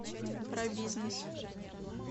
про бизнес